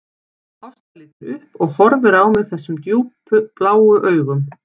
Ásta lítur upp og horfir á mig þessum djúpbláu augum